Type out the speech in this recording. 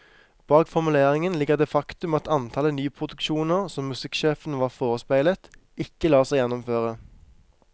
Bak formuleringen ligger det faktum at antallet nyproduksjoner som musikksjefen var forespeilet, ikke lar seg gjennomføre.